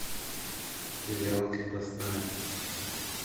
сериал крепостная